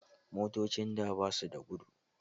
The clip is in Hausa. Motocin da basu da gudu